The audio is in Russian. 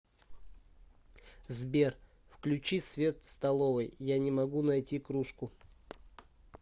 сбер включи свет в столовой я не могу найти кружку